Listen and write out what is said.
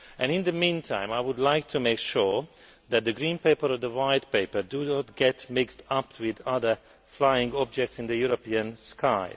In the meantime, I would like to make sure that the Green Paper and the White Paper do not get mixed up with other flying objects in the European sky.